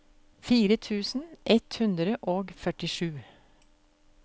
fire tusen ett hundre og førtisju